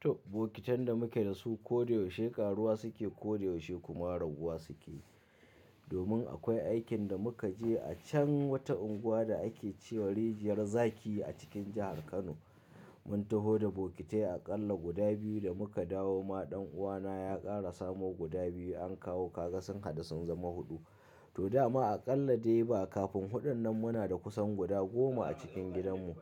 To, bokitan da muke da su ko da yaushe karuwa suke, ko da yaushe kuma raguwa suke. Domin akwai aikin da muka je a can wata unguwa da ake ce wa rijiyar zaki a cikin jahar Kano. Mun taho da bokitai aƙalla guda biyu da muka dawo ma ɗan uwana ya ƙara samo guda biyu an kawo kaga sun hadu sun zama huɗu. To dama aƙalla dai ba kafin huɗun nan muna da kusan guda goma a cikin gidanmu.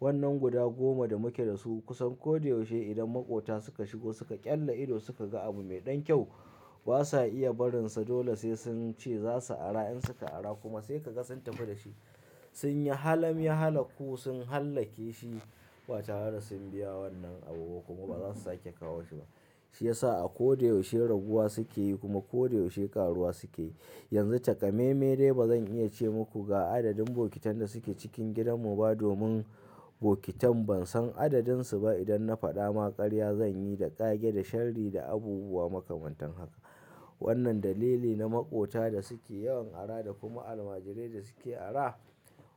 Wannnan guda goma da muke da su kusan ko da yaushe idan maƙota suka shigo suka ƙyalla ido suka ga abu mai ɗan kyau, ba sa iya barinsa dole sai sun ce za su ara. In suka ara kuma sai ka ga sun tafi da shi. Sun yi halemi, hala ku sun hallake shi ba tare sun biya wannan abubuwa kuma ba za su sake kawo shi ba. Shi ya sa a ko da yaushe rabuwa suke yi kuma ko da yaushe ƙaruwa suke yi. Yanzu takamaime dai ba zan iya ce muku ga adadin bokitan da suke cikin gidanmu ba domin bokitan ban san adadinsu ba. Idan na faɗa ma ƙarya zan yi da ƙage da sharri da abubuwa makamantan haka. Wannnan dalili na maƙota da suke yawan ara da kuma almajirai da suke ara.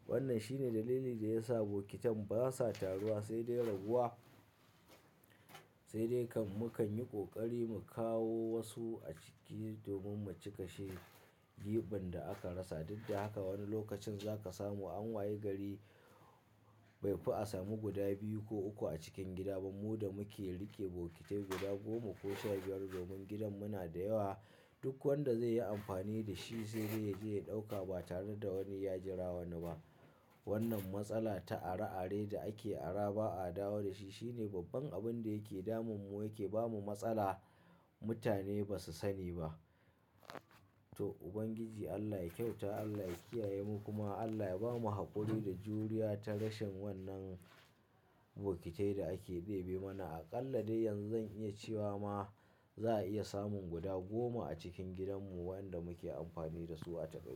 Wannnan shine dalili da ya sa bokitan ba sa taruwa sai dai raguwa, sai dai kan mu kan yi ƙoƙari mu kawo wasu a ciki domin mu cika shi giɓin da aka rasa. Duk da haka wani lokacin za ka samu an waye gari bai fi a samu guda biyu ko uku a cikin gida ba. Mu da muke riƙe bokitai guda goma ko sha biyar domin gidan mu na da yawa, duk wanda zai yi amfani da shi sai dai yaje ya ɗauka ba tare da wani ya jira wani ba. Wannnan matsala ta ara ara da ake ara ba a dawo da shi shine babban abun da yake damun mu yake ba mu matsala mutane ba su sani ba. To, Ubangiji Allah ya kyauta Allah ya kiyaye mu kuma Allah ya bamu haƙuri da juriya ta rashin wannan bokitai da ake bebe mana. Aƙalla dai yanzu zan iya cewa ma za a iya samun guda goma a cikin gidanmu wadanda muke amfani da su a takaici.